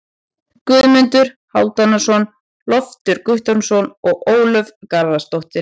Guðmundur Hálfdanarson, Loftur Guttormsson og Ólöf Garðarsdóttir.